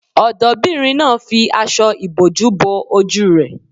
Ọ̀dọ́bìnrin náà fi aṣọ ìbòjú bo ojú rẹ̀